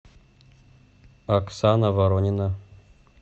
оксана воронина